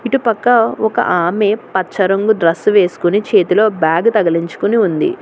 ఇటు పక్క ఒక ఆమె పచ్చ రంగు డ్రెస్సు వేసుకుని చేతిలో బ్యాగు తగిలించుకుని ఉంది.